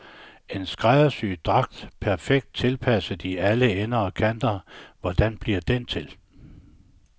En skræddersyet dragt, perfekt tilpasset i alle ender og kanter hvordan bliver den til?